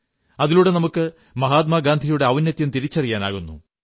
അതിലൂടെ നമുക്ക് മഹാത്മാഗാന്ധിയുടെ ഔന്നത്യം തിരിച്ചറിയാനാകുന്നു